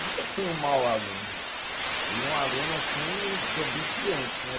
Nunca fui um mau aluno, fui um aluno assim desobediente, né?